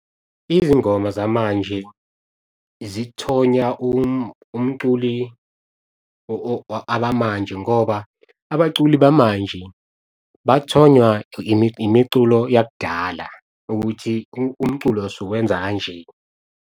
Izingoma zamanje zithonya umculi abamanje ngoba abaculi bamanje bathonywa imiculo yakudala ukuthi umculo siwenza kanje.